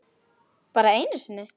Bara einu sinni?